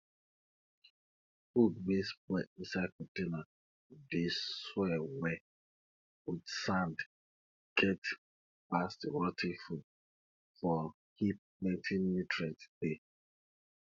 food wey spoil inside container dey soil well with sand get pass rot ten food for heap plenty nutrients dey